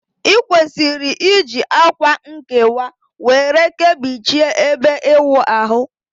I kwesiri iji akwa nkewa were Kebichie ebe iwu ahu